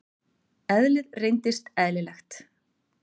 Eðlið reynist eðlilegt.